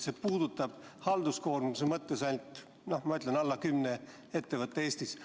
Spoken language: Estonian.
See puudutab halduskoormuse mõttes ainult väheseid, nagu ma ütlesin, alla kümne ettevõtte Eestis.